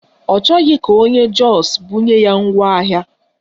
Ọ chọghị ka onye Jọs bunye ya ngwaahịa